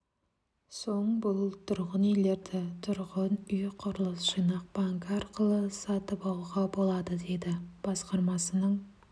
соң бұл тұрғын үйлерді тұрғын үй құрылыс жинақ банкі арқылы сатып алуға болады дейді басқармасының